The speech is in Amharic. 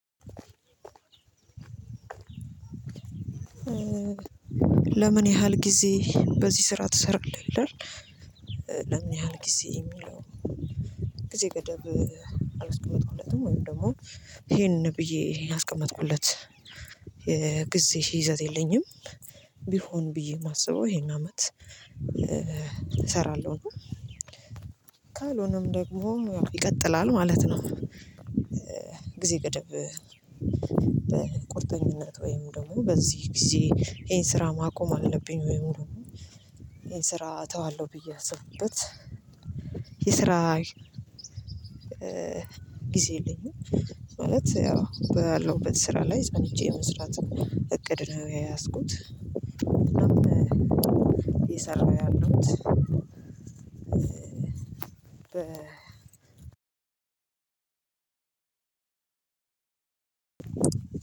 ለምን ያህል ጊዜ በዚህ ስራ ትሰራለህ? ለምን ያህል ጊዜ የሚለው ጊዜ ገደብ አላስቀመጥኩለትም ወይም ደግሞ ይሄንን ብዬ ያስቀመጥኩለት ጊዜ ይዘት የለኝም ቢሆን ብዬ የማስበው ይሄን አመት እሰራለው ነው ካልሆነም ደግሞ ይቀጥላል ማለት ነው። ጊዜ ገደብ በቁርጠኝነት ወይም ደግሞ በዚህ ጊዜ ይሄን ስራ ማቆም አለብኝ ወይም ደግሞ ይሄን ስራ አተዋለሁ ብዬ ያስብኩበት የስራ ጊዜ የለኝም ማለት ያው ባለውበት ስራ ላይ ጸንቼ የመስራት እቅድ ነው የያዝኩት አናም አየሰራው ያለዉትደ